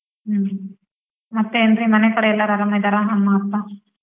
ಹ್ಮ್, ಮತ್ತೆ ಏನ್ರೀ ಮನೆಕಡೆ ಎಲ್ಲಾರ್ ಆರಾಮಿದಾರ ಅಮ್ಮ ಅಪ್ಪ?